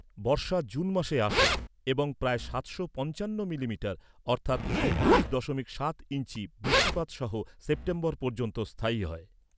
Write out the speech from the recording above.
বর্ষা June মাসে আসে এবং প্রায় সাতশো পঞ্চান্ন মিলিমিটার অর্থাৎ ঊনত্রিশ দশমিক সাত ইঞ্চি বৃষ্টিপাত সহ সেপ্টেম্বর পর্যন্ত স্থায়ী হয়।